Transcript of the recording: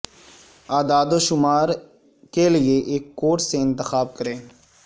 اعداد و شمار کے لئے ایک کوٹ سے انتخاب کریں